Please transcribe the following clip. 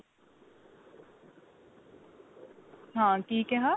ਹਾਂ ਕੀ ਕਿਹਾ